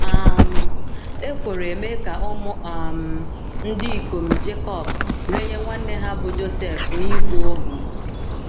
um Ekworo emee ka ụmụ um ndị ikom Jekọb renye nwanne ha bụ́ Josef n’ịbụ ohu.